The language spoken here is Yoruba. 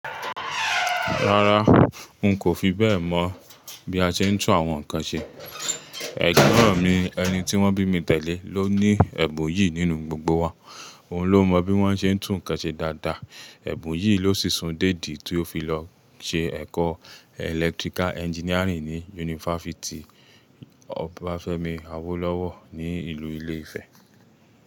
Rárá, n kò fi bẹ́ẹ̀ mọ̀ bí a ṣe ń tún àwọn nǹkan ṣe. Ẹ̀gbọ́n mi, ẹni tí wọ́n bí mi tẹ́lẹ̀ ló ní ẹ̀bùn yìí nínú gbogbo wa. Òun ló mọ bí wọ́n ṣe ń tún nǹkan ṣe dáadáa. Ẹ̀bùn yìí ló sisun déèdì tí ó fi lọ ṣe ẹ̀kọ́ electrical engineering ní Yunifásítì Obafemi Awolowo ní ìlú Ilé Ifẹ̀.